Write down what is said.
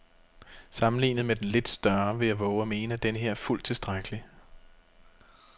Sammenlignet med den lidt større vil jeg vove at mene, at denneher er fuldt tilstrækkelig.